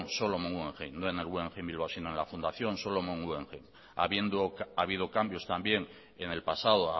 solomon guggenheim no en el guggenheim bilbao sino en la fundación solomon guggenheim habiendo habido cambios también en el pasado